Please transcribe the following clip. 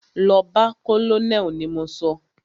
Lọ bá colonel ni mo sọ!